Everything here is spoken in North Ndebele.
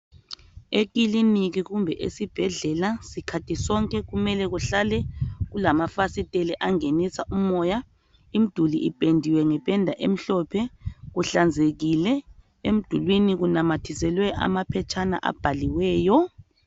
Ekiliniki kumbe esibhedlela sikhathi sonke kumele kuhlale kulamafasiteli angenisa umoya, imiduli ipendiwe ngependa emhlophe, kuhlanzekile. Emidulwini kunamathiselwe amaphetshana abhaliweyo.